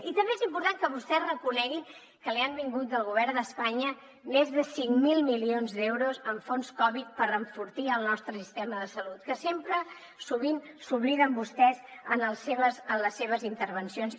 i també és important que vostès reconeguin que els hi han vingut del govern d’espanya més de cinc mil milions d’euros en fons covid per enfortir el nostre sistema de salut que sovint se n’obliden vostès en les seves intervencions